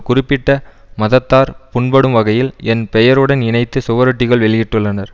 குறிப்பிட்ட மதத்தார் புண்படும் வகையில் என் பெயருடன் இணைத்து சுவரொட்டிகள் வெளியிட்டுள்ளனர்